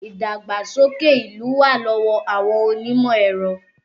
Ìdàgbàsókè ìlú wà lọ́wọ́ àwọn onímọ̀ ẹ̀rọ